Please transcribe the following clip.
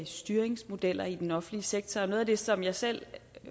styringsmodeller i den offentlige sektor og noget af det som jeg selv